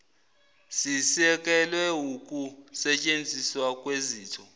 sisekelwe wukusetshenziswa kwezitho